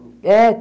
é